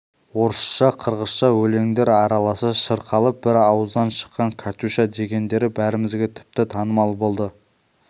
орысша қырғызша өлеңдер араласа шырқалып бір ауыздан шыққан катюша дегендері бәрімізге тіпті танымал болды